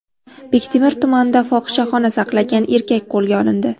Bektemir tumanida fohishaxona saqlagan erkak qo‘lga olindi.